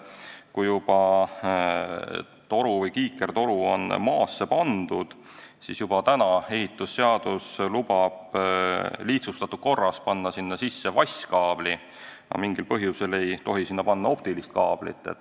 Kui toru või kiikertoru on juba maasse pandud, siis ehitusseadus lubab sinna lihtsustatud korras paigaldada vaskkaabli, aga mingil põhjusel ei tohi sinna paigaldada optilist kaablit.